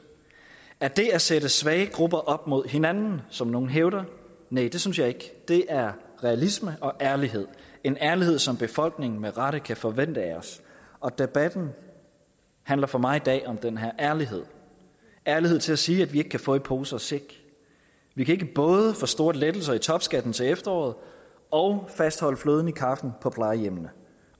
er det at sætte svage grupper op mod hinanden som nogle hævder næh det synes jeg ikke det er realisme og ærlighed det en ærlighed som befolkningen med rette kan forvente af os og debatten handler for mig i dag om den her ærlighed ærlighed til at sige at vi ikke kan få i pose og sæk vi kan ikke både få store lettelser i topskatten til efteråret og fastholde fløden i kaffen på plejehjemmene